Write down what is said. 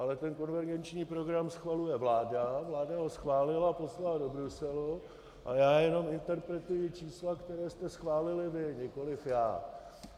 Ale ten konvergenční program schvaluje vláda, vláda ho schválil a poslala do Bruselu a já jenom interpretuji čísla, která jste schválili vy, nikoliv já.